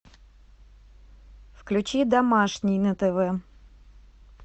включи домашний на тв